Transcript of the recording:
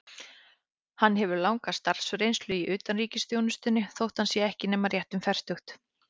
Hann hefur langa starfsreynslu í utanríkisþjónustunni, þótt hann sé ekki nema rétt um fertugt.